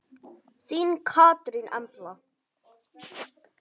Þín Katrín Embla.